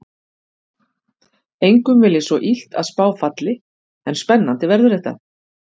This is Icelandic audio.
Engum vil ég svo illt að spá falli en spennandi verður þetta.